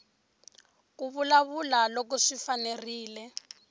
ku vulavula loko swi fanerile